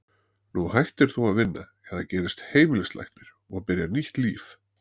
Nú hættir þú að vinna, eða gerist heimilislæknir, og byrjar nýtt líf.